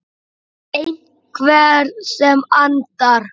Einhver sem andar.